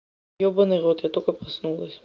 ёбанный в рот я только проснулась